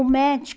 O